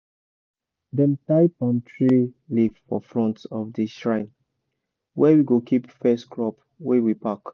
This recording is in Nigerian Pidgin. elders dey pack theirself under big tree pour drink con ask for blessing